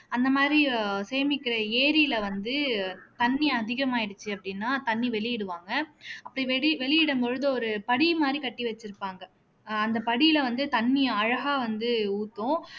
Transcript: அந்த மாதிரி அஹ் சேமிக்கிற ஏரியில வந்து தண்ணி அதிகமாயிடுச்சு அப்படீன்னா தண்ணி வெளியிடுவாங்க அப்படி வெளி வெளியிடும் பொழுது ஒரு படி மாதிரி கட்டி வச்சிருப்பாங்க அஹ் அந்த படியில வந்து தண்ணி அழகா வந்து ஊத்தும்